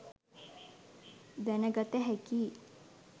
දැනගත හැකියි.